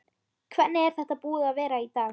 Hvernig er þetta búið að vera í dag?